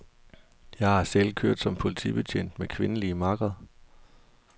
Jeg har selv kørt som politibetjent med kvindelige makkere.